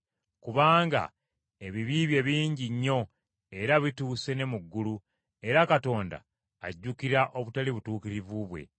Kubanga ebibi bye bingi nnyo, era bituuse ne mu ggulu, era Katonda ajjukira obutali butuukirivu bwe.